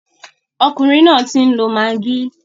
Ọkùnrin náà ń tí lọ maggi.